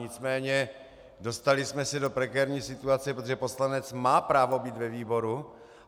Nicméně dostali jsme se do prekérní situace, protože poslanec má právo být ve výboru.